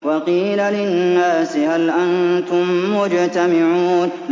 وَقِيلَ لِلنَّاسِ هَلْ أَنتُم مُّجْتَمِعُونَ